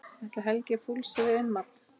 Ætli Helgi fúlsi við innmat?